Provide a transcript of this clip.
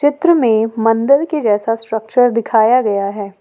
चित्र में मंदिर के जैसा स्ट्रक्चर दिखाया गया है।